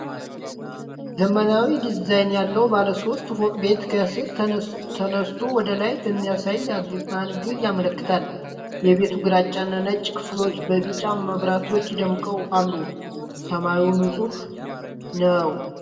ዘመናዊ ዲዛይን ያለው ባለ ሶስት ፎቅ ቤት ከስር ተነስቶ ወደ ላይ በሚያሳይ አንግል ያመለክታል። የቤቱ ግራጫና ነጭ ክፍሎች በቢጫ መብራቶች ደምቀው አሉ፣ ሰማዩ ንፁህ ነው።